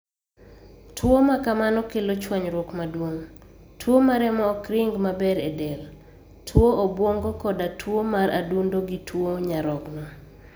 Tuwo ma kamano kelo chwanyruok maduong ', tuo ma remo ok ring maber e del ,tuo obwongo koda tuwo mar adundo gi tuo nyarogno